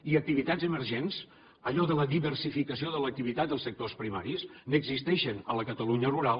i d’activitats emergents allò de la diversificació de l’activitat dels sectors primaris n’existeixen a la catalunya rural